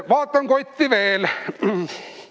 Vaatan kotti veel.